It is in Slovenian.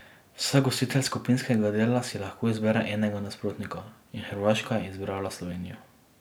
Vsak gostitelj skupinskega dela si lahko izbere enega nasprotnika in Hrvaška je izbrala Slovenijo.